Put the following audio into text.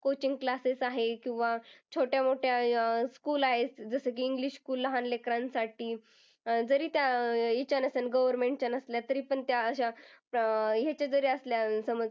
coaching classes आहे किंवा छोट्या मोठ्या अं school आहेत जसं की english school लहान लेकरांसाठी जरी त्या अह ह्याच्या नसल्या government च्या नसल्या तरी पण त्या ह्याच्या अह जरी असल्या, समज